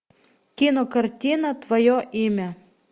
кинокартина твое имя